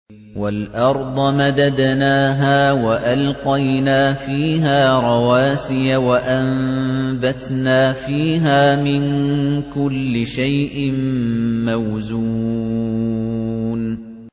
وَالْأَرْضَ مَدَدْنَاهَا وَأَلْقَيْنَا فِيهَا رَوَاسِيَ وَأَنبَتْنَا فِيهَا مِن كُلِّ شَيْءٍ مَّوْزُونٍ